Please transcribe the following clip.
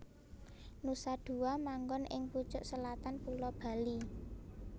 Nusa Dua manggon ing pucuk selatan Pulo Bali